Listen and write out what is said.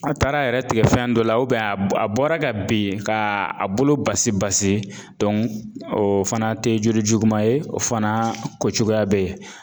A taara yɛrɛ tigɛ fɛn dɔ la a bɔra ka bin k'a bolo basi basi o fana tɛ joli juguman ye o fana kocogoya bɛ yen